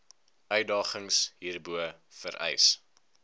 uitdagings hierbo vereis